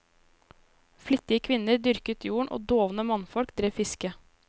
Flittige kvinner dyrket jorden og dovne mannfolk drev fiske.